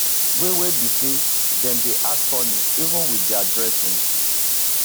wey wey be say dem dey act funny even wit dia dressing